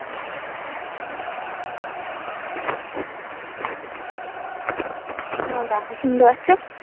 দেখো শুনতে পাচ্ছো?